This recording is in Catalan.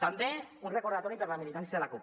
també un recordatori per a la militància de la cup